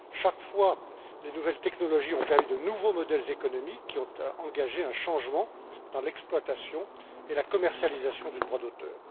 Chaque fois, les nouvelles technologies ont permis de passer à de nouveaux modèles économiques qui ont entraîné un changement dans l'exploitation et la commercialisation du droit d'auteur.